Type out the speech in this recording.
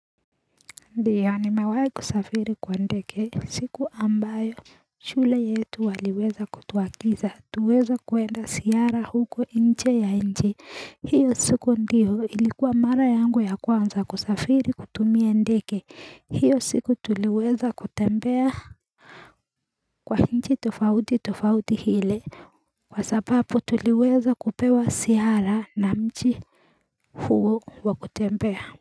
Ndiyo nimewahi kusafiri kwa ndege siku ambayo shule yetu waliweza kutuagiza tuweze kuenda ziara huko nje ya nchi hiyo siku ndiyo ilikuwa mara yangu ya kwanza kusafiri kutumia ndege hiyo siku tuliweza kutembea kwa nchi tofauti tofauti ile kwa sababu tuliweza kupewa ziara na nchi huo wa kutembea.